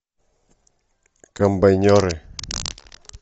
комбайнеры